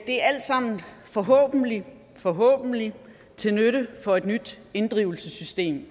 er alt sammen forhåbentlig forhåbentlig til nytte for et nyt inddrivelsessystem